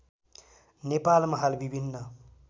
नेपालमा हाल विभिन्न